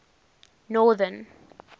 northern